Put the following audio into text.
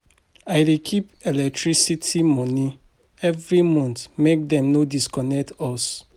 I dey keep electricity moni every month make dem no disconnect us.